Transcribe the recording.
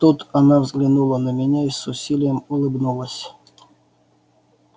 тут она взглянула на меня и с усилием улыбнулась